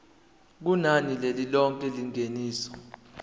kunani lilonke lengeniso